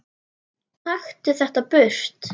Taktu þetta burt!